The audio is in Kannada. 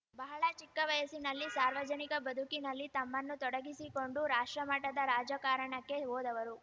ಬಹಳ ಚಿಕ್ಕ ವಯಸ್ಸಿನಲ್ಲಿ ಸಾರ್ವಜನಿಕ ಬದುಕಿನಲ್ಲಿ ತಮ್ಮನ್ನು ತೊಡಗಿಸಿಕೊಂಡು ರಾಷ್ಟ್ರಮಟ್ಟದ ರಾಜಕಾರಣಕ್ಕೆ ಹೋದವರು